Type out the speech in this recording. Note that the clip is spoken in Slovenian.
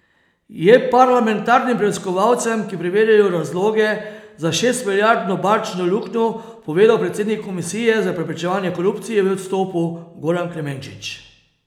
Je parlamentarnim preiskovalcem, ki preverjajo razloge za šestmilijardno bančno luknjo, povedal predsednik komisije za preprečevanje korupcije v odstopu Goran Klemenčič.